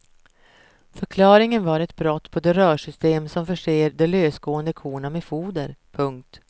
Förklaringen var ett brott på det rörsystem som förser de lösgående korna med foder. punkt